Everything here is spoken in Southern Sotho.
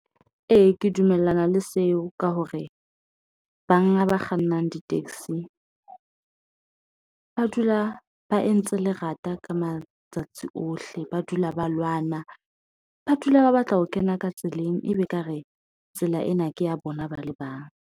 Ee, ke dumellana le seo ka hore banga ba kgannang di-taxi ba dula ba entse lerata ka matsatsi ohle, ba dula ba lwana ba dula ba batla ho kena ka tseleng. E be ekare tsela ena ke ya bona ba le bang.